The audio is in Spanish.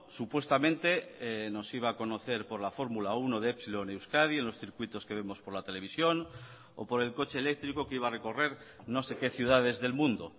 supuestamente nos iba a conocer por la fórmula uno de epsilon euskadi en los circuitos que vemos por la televisión o por el coche eléctrico que iba a recorrer no sé qué ciudades del mundo